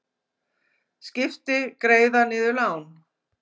Skipti greiða niður lán